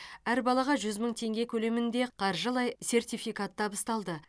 әр балаға жүз мың теңге көлемінде қаржылай сертификат табысталды